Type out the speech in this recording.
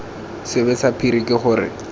sebe sa phiri ke gore